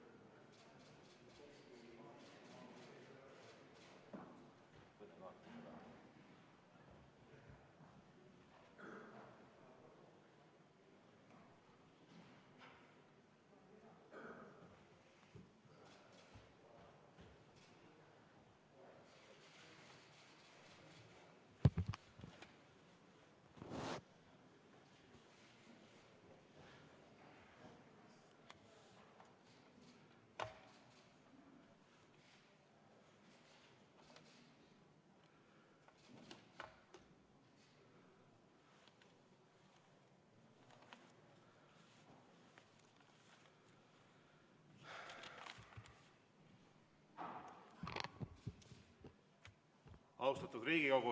Austatud Riigikogu!